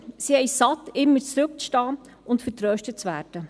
Sie haben es satt, immer zurückzustehen und vertröstet zu werden.